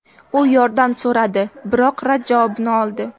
U yordam so‘radi, biroq rad javobini oldi.